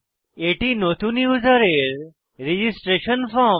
এটি নতুন ইউসারের রেজিস্ট্রেশন ফর্ম